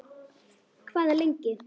Hvað lengi